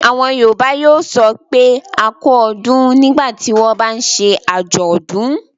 Àwọn Yorùbá yóò sọ pé "a kú ọdún. nígbà tí wọ́n bá ń ṣe àjọ̀dún.